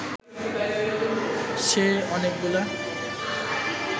সে অনেকগুলো